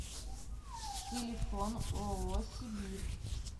телефон ооо сибирь